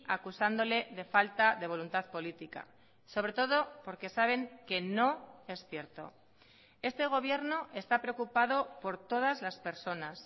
acusándole de falta de voluntad política sobre todo porque saben que no es cierto este gobierno está preocupado por todas las personas